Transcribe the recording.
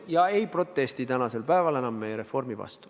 Nad ei protesti enam meie reformi vastu.